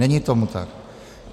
Není tomu tak.